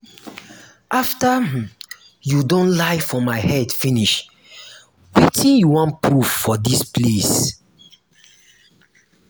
after um you don um lie for my head finish wetin you wan proof for dis place?